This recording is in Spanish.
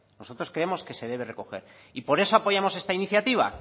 nosotros creemos que se debe recoger y por eso apoyamos esta iniciativa